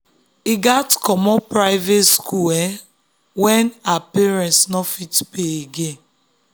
he gats comot private school um when um her um parents no fit pay again.